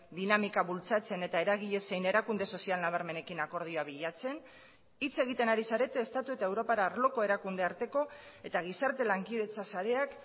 dinamika bultzatzen eta eragile zein erakunde sozial nabarmenekin akordioa bilatzen hitz egiten ari zarete estatu eta europar arloko erakunde arteko eta gizarte lankidetza sareak